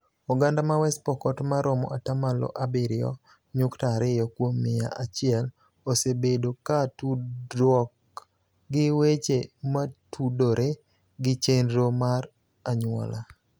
Oganda ma West Pokot ma romo ata malo abiriyo nyukta ariyo kuom mia achiel osebedo ka tudruok gi weche motudore gi chenro mar anyuola